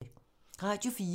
Radio 4